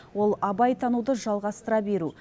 ол абай тануды жалғастыра беру